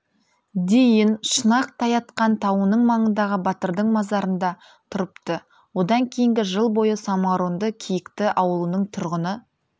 дейін шұнақ-тайатқан тауының маңындағы батырдың мазарында тұрыпты одан кейінгі жыл бойы самаурынды киікті ауылының тұрғыны